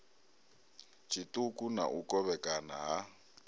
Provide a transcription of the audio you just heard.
tshiṱuku na u kovhekana ha